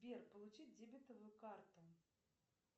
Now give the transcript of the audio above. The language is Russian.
сбер получить дебетовую карту